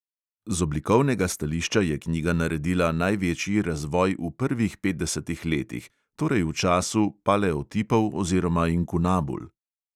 Z oblikovnega stališča je knjiga naredila največji razvoj v prvih petdesetih letih, torej v času paleotipov oziroma inkunabul.